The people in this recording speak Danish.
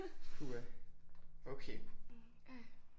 Puha okay